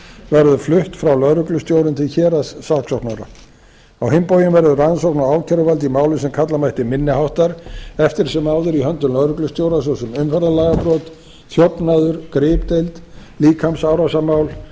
verður flutt frá lögreglustjórum til héraðssaksóknara á hinn bóginn verður rannsókn á ákæruvaldi í máli sem kalla mætti minni háttar eftir sem áður í höndum lögreglustjórans svo sem umferðarlagabrot þjófnaður gripdeild líkamsárásarmál